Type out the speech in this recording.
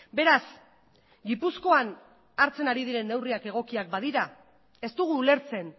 beraz gipuzkoan hartzen ari diren neurriak egokiak badira ez dugu ulertzen